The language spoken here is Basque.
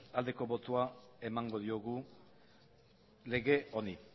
aldeko botoa emango diogu lege honi